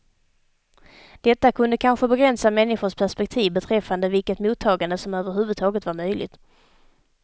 Detta kunde kanske begränsa människors perspektiv beträffande vilket mottagande som överhuvudtaget var möjligt.